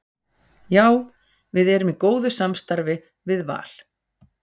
Já við erum í góðu samstarfi við Val.